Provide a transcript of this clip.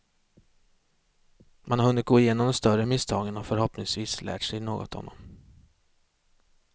Man har hunnit gå igenom de större misstagen och förhoppningsvis lärt sig något av dem.